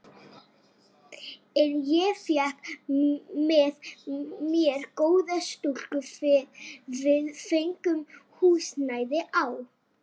En ég fékk með mér góða stúlku, við fengum húsnæði á